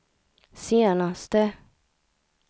senaste